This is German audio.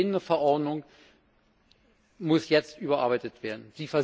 Die bestehende Verordnung muss jetzt überarbeitet werden.